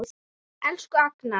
Elsku Agnar.